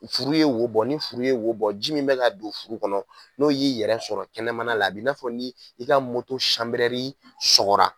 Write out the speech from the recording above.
Furu ye wo bɔ. Ni furu ye wo bɔ ji min bɛ ka don furu kɔnɔ n'o y'i yɛrɛ sɔrɔ kɛnɛmana la a b'i n'a fɔ ni i ka sanbrɛri sɔgɔra.